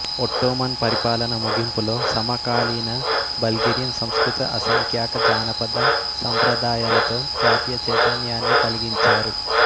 Ottoman పరిపాలన ముగింపులో సమకాలీన బల్గేరియన్ సంస్కృతి అసంఖ్యాక జానపద సంప్రదాయాలతో జాతీయ చైతన్యాన్ని కలిగించారు